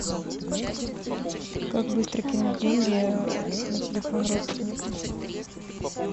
как быстро кинуть деньги на телефон родственнику